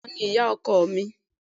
Bẹ́ẹ́ni, àwọn ni ìyá ọkọ mi